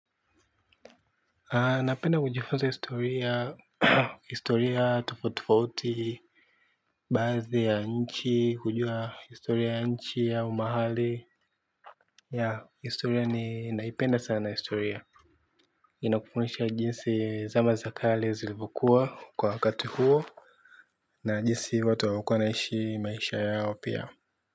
Napenda kujifunza historia, historia tofauti tofauti, baadhi ya nchi, hujua historia ya nchi au mahali historia ni naipenda sana historia. Inakufundisha jinsi zama za kale zilivyokuwa kwa wakati huo. Na jinsi watu walikuwa wanaishi maisha yao pia.